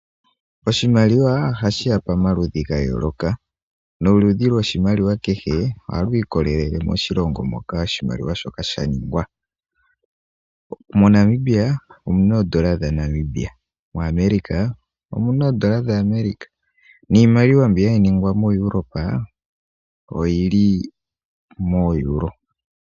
Oshimaliwa oha shi ya pamaludhi hayooloka. Noludhi lwoshimaliwa hehe, oha lu ikolelele moshilongo moka shaningwa. Mo Namibia omuna oodola dha Namibia, mo America omuna oodola dha America niimaliwa mbi ha yi ningwa mo Europe oyili mo Europe.